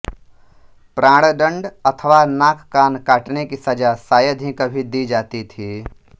प्राणदंड अथवा नाक कान काटने की सजा शायद ही कभी दी जाती थी